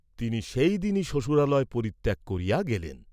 তিনি সেইদিনই শ্বশুরালয় পরিত্যাগ করিয়া গেলেন।